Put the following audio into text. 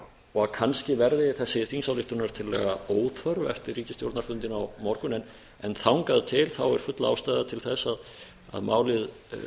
og kannski verði þessi þingsályktunartillaga óþörf eftir ríkisstjórnarfundinn á morgun en þangað til er full ástæða til að málið